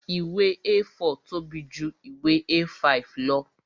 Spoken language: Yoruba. Ìwé A4 tóbi ju ìwé A5 lọ